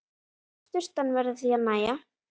Sturtan verður því að nægja.